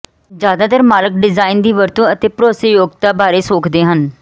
ਜ਼ਿਆਦਾਤਰ ਮਾਲਕ ਡਿਜ਼ਾਈਨ ਦੀ ਵਰਤੋਂ ਅਤੇ ਭਰੋਸੇਯੋਗਤਾ ਬਾਰੇ ਸੌਖਦੇ ਹਨ